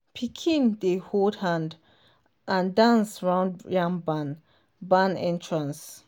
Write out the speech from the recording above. pikin dey hold hand and dance round yam barn barn entrance.